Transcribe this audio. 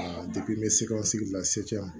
n bɛ se ka sigi la